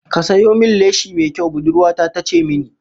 "Ka sayo min leshi mai kyau", budurwa ta ta ce mini